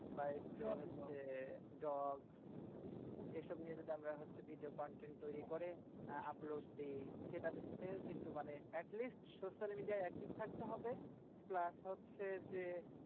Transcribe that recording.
হচ্ছে dog এসব নিয়ে যদি আমরা হচ্ছে video content তৈরী করি? আহ upload দিই কিন্তু মানে at least social media য় active থাকতে হবে। plus হচ্ছে যে,